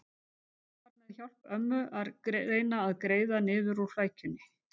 Hún var með hjálp ömmu að reyna að greiða niður úr flækjunni.